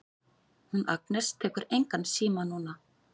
Hún Agnes tekur engan síma núna.